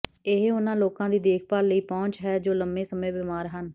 ਇਹ ਉਹਨਾਂ ਲੋਕਾਂ ਦੀ ਦੇਖਭਾਲ ਲਈ ਪਹੁੰਚ ਹੈ ਜੋ ਲੰਬੇ ਸਮੇਂ ਬਿਮਾਰ ਹਨ